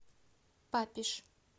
папиж